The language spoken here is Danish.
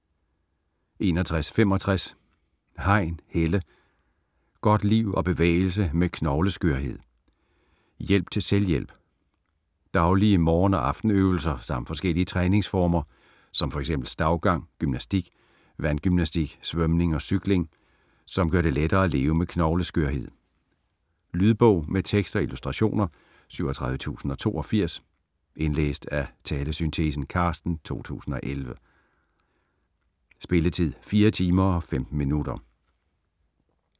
61.65 Hein, Helle: Godt liv og bevægelse med knogleskørhed: hjælp til selvhjælp Daglige morgen- og aftenøvelser samt forskellige træningsformer som fx stavgang, gymnastik, vandgymnastik, svømning og cykling, som gør det lettere at leve med knogleskørhed. Lydbog med tekst og illustrationer 37082 Indlæst af Talesyntese: Carsten, 2011. Spilletid: 4 timer, 15 minutter.